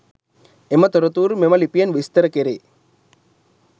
එම තොරතුරු මෙම ලිපියෙන් විස්තර කෙරේ.